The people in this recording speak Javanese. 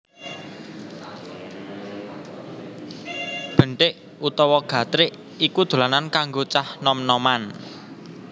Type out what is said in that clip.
Benthik utawa gatrik iku dolanan kanggo cah nom noman